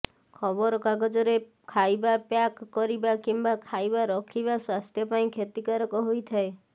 ଖବରକାଗଜରେ ଖାଇବା ପ୍ୟାକ କରିବା କିମ୍ୱା ଖାଇବା ରଖିବା ସ୍ୱାସ୍ଥ ପାଇଁ କ୍ଷତିକାରକ ହୋଇଥାଏ